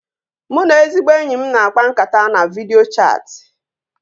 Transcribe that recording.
Mụ na ezigbo enyi m na-akpa nkata na vidịo chatị